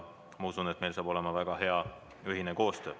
Usun, et meil saab olema väga hea koostöö.